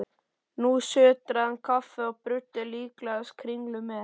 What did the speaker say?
Nú sötraði hann kaffið og bruddi líklegast kringlu með.